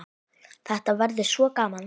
Þetta verður svo gaman.